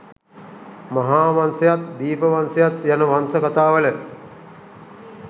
මහා වංශයත් දීප වංශයත් යන වංශ කතාවල